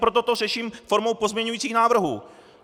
Proto to řeším formou pozměňujících návrhů.